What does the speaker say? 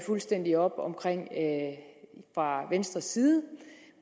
fuldstændig op om fra venstres side